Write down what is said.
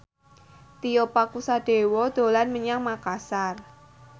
Tio Pakusadewo dolan menyang Makasar